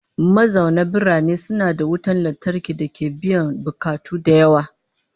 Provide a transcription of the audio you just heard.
Mazauna birane suna da wutan lantarki dake biyan bukatu da yawa